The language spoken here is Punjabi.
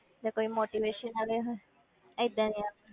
ਜਾਂ ਕੋਈ motivation ਵਾਲੀਆ ਹੋਣ ਏਦਾਂ ਦੀਆਂ